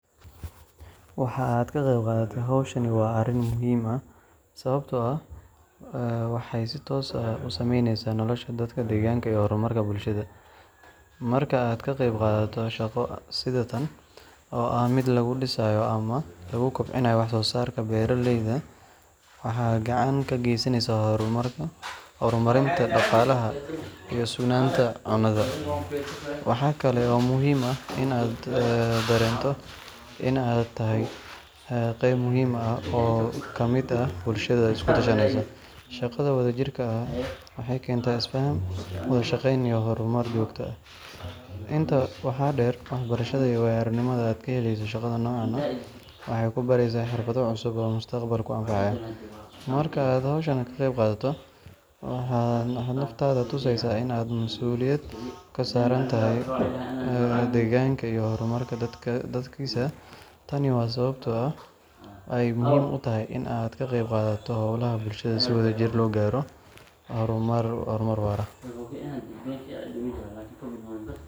Waxa aad ka qayb qaadatay hawshan waa arrin muhiim ah sababtoo ah waxay si toos ah u saameynaysaa nolosha dadka deegaanka iyo horumarka bulshada. Marka aad ka qayb qaadato shaqo sida tan, oo ah mid lagu dhisayo ama lagu kobcinayo wax soosaarka beeralayda, waxaad gacan ka geysaneysaa horumarinta dhaqaalaha iyo sugnaanta cunnada. Waxa kale oo muhiim ah in aad dareento in aad tahay qayb muhiim ah oo ka mid ah bulsho isku tashanaysa. Shaqada wadajirka ah waxay keentaa isfaham, wada shaqeyn iyo horumar joogto ah. Intaa waxaa dheer, waxbarashada iyo waayo aragnimada aad ka helayso shaqada noocan ah waxay ku baraysaa xirfado cusub oo mustaqbalka kuu anfacaya. Marka aad hawshan ka qayb qaadato, waxaad naftaada tusaysaa in aad masuuliyad ka saaran tahay deegaankaaga iyo horumarka dadkiisa. Tani waa sababta ay muhiim u tahay in aad ka qayb qaadato hawlaha bulshada si wadajir loo gaaro horumar waara.